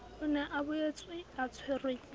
o ne a boetseatshwerwe ke